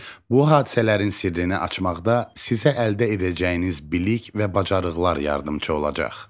Bu hadisələrin sirrini açmaqda sizə əldə edəcəyiniz bilik və bacarıqlar yardımçı olacaq.